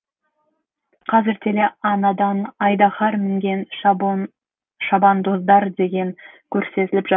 қазір теле анадан айдаһар мінген шабандоздар деген көрсетіліп жатыр